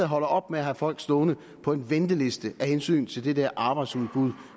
holder op med at have folk stående på en venteliste af hensyn til det der arbejdsudbud